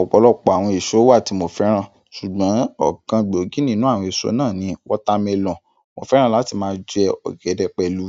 Ọ̀pọ̀lọpọ̀ àwọn èso wà tí mo fẹ́ràn, ṣùgbọ́n ọ̀kan gbòógì nínú àwọn èso náà ni watermelon. Mo fẹ́ràn láti máa jẹ ọ̀gẹ̀dẹ̀ pẹ̀lú